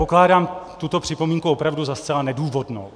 Pokládám tuto připomínku opravdu za zcela nedůvodnou.